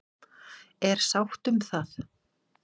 Er sátt um það?